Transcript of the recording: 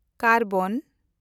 ᱠᱟᱨᱵᱟᱱ